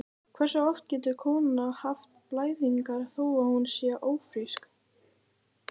Hversu oft getur kona haft blæðingar þó að hún sé ófrísk?